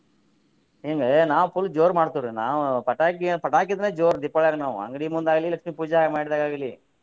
ಹಿಂಗ ನಾವ್ full ಜೋರ್ ಮಾಡ್ತೇವ್ರಿ ನಾವ್ ಪಟಾಕಿ ಪಟಾಕಿ ಇದ್ರ ಜೋರ್ ದೀಪಾವಳ್ಯಾಗ ನಾವ ಅಂಗ್ಡಿ ಮುಂದ ಆಗ್ಲಿ ಲಕ್ಷ್ಮೀ ಪೂಜಾ ಮಾಡಿದಾಗ ಆಗ್ಲಿ.